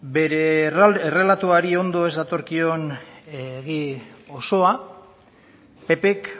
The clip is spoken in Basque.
bere errelatoari ondo ez datorkion egi osoa ppk